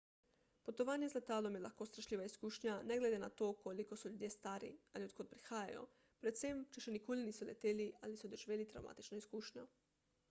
potovanje z letalom je lahko strašljiva izkušnja ne glede na to koliko so ljudje stari ali od kod prihajajo predvsem če še nikoli niso leteli ali so doživeli travmatično izkušnjo